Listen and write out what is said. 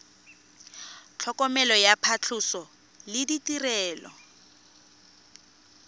tlhokomelo ya phatlhoso le ditirelo